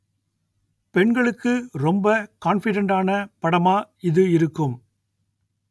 பெண்களுக்கு ரொம்ப கான்ஃபிடென்டான படமா இது இருக்கும்